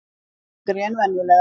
Þyngri en venjulega.